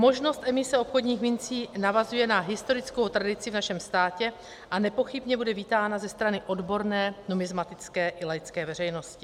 Možnost emise obchodních mincí navazuje na historickou tradici v našem státě a nepochybně bude vítána ze strany odborné numismatické i laické veřejnosti.